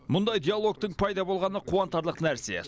мұндай диалогтың пайда болғаны қуантарлық нәрсе